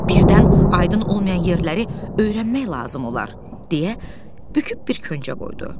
Birdən aydın olmayan yerləri öyrənmək lazım olar, deyə büküb bir köcə qoydu.